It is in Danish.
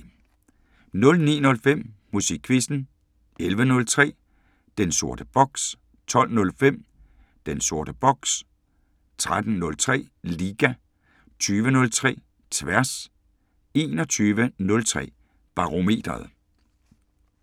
09:05: Musikquizzen 11:03: Den sorte boks 12:05: Den sorte boks 13:03: Liga 20:03: Tværs 21:03: Barometeret